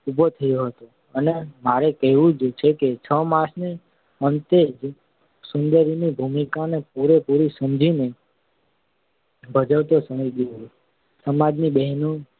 ઊભો થયો હતો અને મારે કહેવું જોઈએ કે છ માસને અંતે જસુંદરી ની ભૂમિકાને પૂરેપૂરી સમજીને ભજવતો થઈ ગયો હતો. સમાજની બહેનો